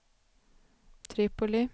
Tripoli